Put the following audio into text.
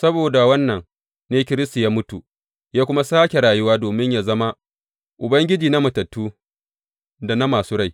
Saboda wannan ne Kiristi ya mutu, ya kuma sāke rayuwa domin yă zama Ubangiji na matattu da na masu rai.